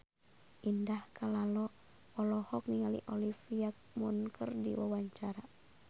Indah Kalalo olohok ningali Olivia Munn keur diwawancara